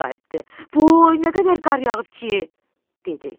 Voy, nə qədər qar yağıb ki! dedi.